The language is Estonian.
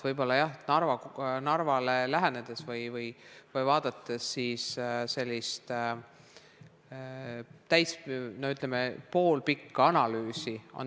Võib-olla Narvale lähenedes tuleb vaadata sellist, ütleme, poolpikka analüüsi.